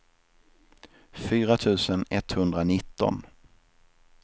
fyra tusen etthundranitton